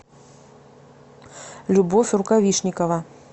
любовь рукавишникова